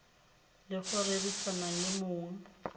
le go rerisana le mong